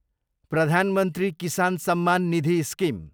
प्रधान मन्त्री किसान सम्मान निधि स्किम